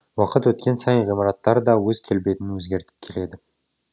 уақыт өткен сайын ғимараттар да өз келбетін өзгертіп келеді